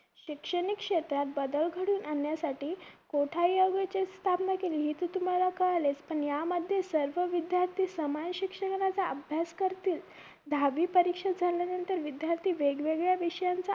शैक्षणिक क्षेत्रात बदल घडवून आणण्यासाठी कोठारी आयोगाची स्थापना केलीली इथून तर तुम्हाला कळालेच पण यामध्ये सर्व विध्यार्थी समान शिक्षणाचा अभ्यास करतील दहावी परीक्षा झाल्यानंतर विध्यार्थी वेगवेगळ्या विषयांचा